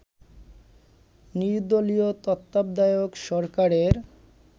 নির্দলীয় তত্ত্বাবধায়ক সরকারের